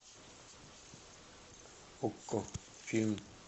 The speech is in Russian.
окко фильм